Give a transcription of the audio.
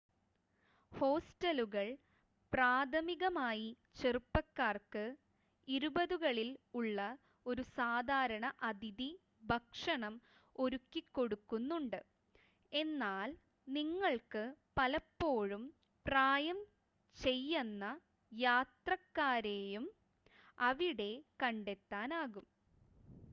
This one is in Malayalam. ഹോസ്റ്റലുകൾ പ്രാഥമികമായി ചെറുപ്പക്കാർക്ക് ഇരുപതുകളിൽ ഉള്ള ഒരു സാധാരണ അതിഥി ഭക്ഷണം ഒരുക്കിക്കൊടുക്കുന്നുണ്ട് എന്നാൽ നിങ്ങൾക്ക് പലപ്പോഴും പ്രായംചെയ്യന്ന യാത്രക്കാരെയും അവിടെ കണ്ടെത്താനാകും